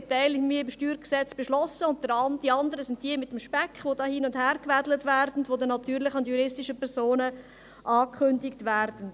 Einen Teil haben wir beim StG beschlossen, und der andere ist der Speck, welcher hin und her gewedelt und den natürlichen und juristischen Personen angekündigt wird.